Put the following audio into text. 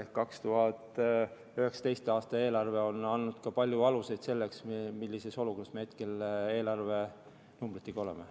Ehk 2019. aasta eelarve on andnud ka palju alust selleks, millises olukorras me hetkel eelarvenumbritega oleme.